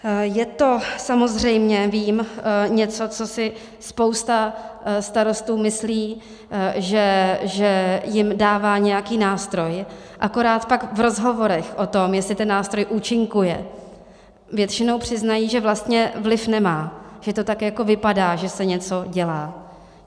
Je to, samozřejmě vím, něco, co si spousta starostů myslí, že jim dává nějaký nástroj, akorát pak v rozhovorech o tom, jestli ten nástroj účinkuje, většinou přiznají, že vlastně vliv nemá, že to tak jako vypadá, že se něco dělá.